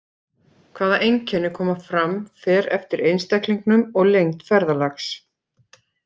Hvaða einkenni koma fram fer eftir einstaklingum og lengd ferðalags.